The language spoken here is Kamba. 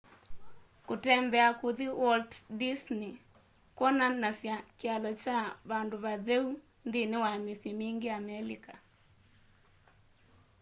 kũtembea kuthi walt disney kwonanasya kyalo kya vandũ vatheũ nthĩnĩ wa mĩsyĩ mĩngĩ amelika